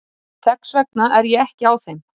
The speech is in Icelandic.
Þess vegna er ég ekki á þeim.